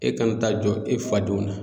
E kana taa jɔ e fa denw na.